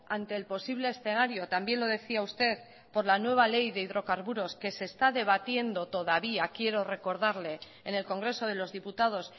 ante el posible escenario también lo decía usted por la nueva ley de hidrocarburos que se está debatiendo todavía quiero recordarle en el congreso de los diputados